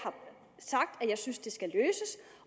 synes det skal løses